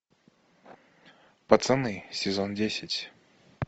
пацаны сезон десять